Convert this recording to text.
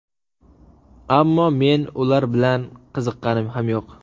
Ammo men ular bilan qiziqqanim ham yo‘q.